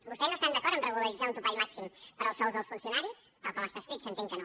vostès no estan d’acord amb regularitzar un topall màxim per als sous dels funcionaris tal com està escrit s’entén que no